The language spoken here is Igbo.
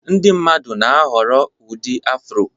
Ndị mmadụ na-ahọrọ ụdị Afro